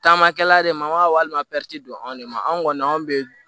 Taamakɛla de ma walima don anw de ma anw kɔni an bɛ